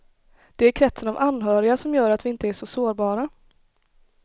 Det är kretsen av anhöriga som gör att vi inte är så sårbara.